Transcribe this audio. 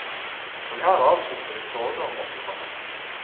Og her avslutter vi soga om åttitallet.